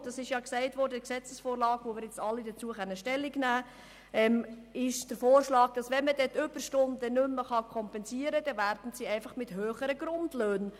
Wie wir alle der Gesetzesvorlage entnehmen können, zu welcher wir Stellung nehmen können, wird im Kanton der Vorschlag gemacht, die Überstunden mit höheren Grundlöhnen abzugelten, wenn man sie nicht kompensieren könne.